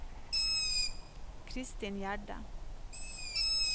Christin Gjerde